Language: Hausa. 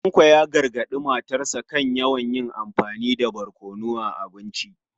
Tanko ya gargadi matarsa ​​kan yawan amfani da barkono a abinci.